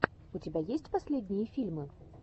у тебя есть последние фильмы